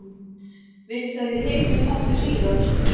Viltu að við hittumst aftur síðar?